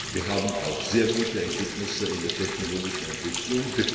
Wir haben auch sehr gute Ergebnisse in der technologischen Entwicklung.